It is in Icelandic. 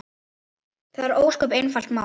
Það er ósköp einfalt mál.